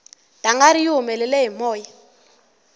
dangari yi humele hi moya